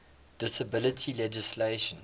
disability legislation